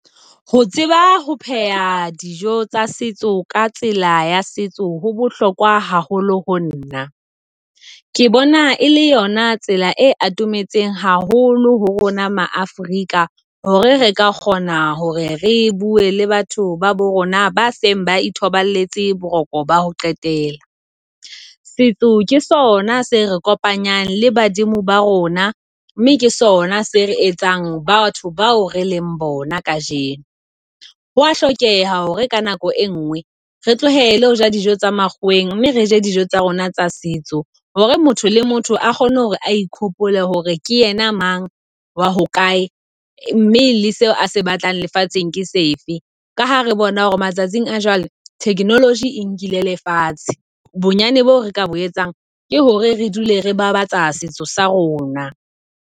Ho tseba ho pheha dijo tsa setso ka tsela ya setso ho bohlokwa haholo ho nna. Ke bona e le yona tsela e atometse haholo ho rona Ma-Afrika. Hore re ka kgona hore re bue le batho ba bo rona ba seng ba ithobaletse boroko ba ho qetela. Setso ke sona se re kopanyang le badimo ba rona, mme ke sona se re etsang batho bao re leng bona kajeno. Ho a hlokeha hore ka nako e ngwe re tlohele hoja dijo tsa makgoweng, mme re je dijo tsa rona tsa setso. Hore motho le motho a kgone hore a ikhopole hore ke yena mang, wa hokae, mme le seo a se batlang lefatsheng ke sefe. Ka ha re bona hore matsatsing a jwale, technology e nkile lefatshe, bonyane boo re ka bo etsang ke hore re dule re babatsa setso sa rona.